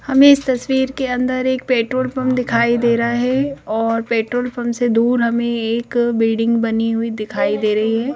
हमें इस तस्वीर के अंदर एक पेट्रोल पंप दिखाई दे रहा है और पेट्रोल पंप से दूर हमें एक बिल्डिंग बनी हुई दिखाई दे रही है।